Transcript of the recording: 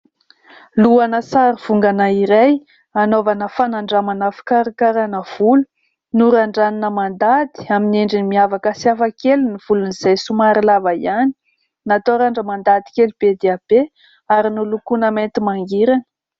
Lohana sary vongana iray, anaovana fanandramana fikarakarana volo ; norandranina mandady amin'ny endriny miavaka sy hafa kely volony izay somary lava ihany, natao randrana mandady kely be dia be ary nolokona mainty mangirana.